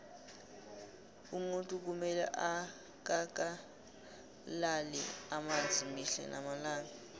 umuntu kumele akakalale amanzi mihle namalanga